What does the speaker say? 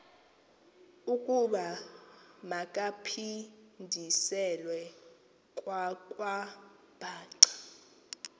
ukuba makaphindiselwe kwakwabhaca